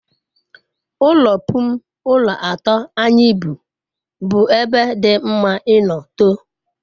ulo pun ulo ato anyi bu bu ebe di mama ino too